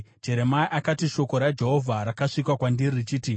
Jeremia akati, “Shoko raJehovha rakasvika kwandiri richiti: